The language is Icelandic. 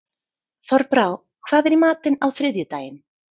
Þorbrá, hvað er í matinn á þriðjudaginn?